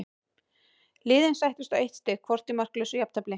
Liðin sættust á eitt stig hvort í markalausu jafntefli.